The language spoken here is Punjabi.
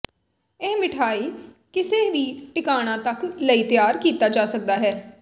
ਇਹ ਮਿਠਆਈ ਕਿਸੇ ਵੀ ਠਿਕਾਣਾ ਤੱਕ ਲਈ ਤਿਆਰ ਕੀਤਾ ਜਾ ਸਕਦਾ ਹੈ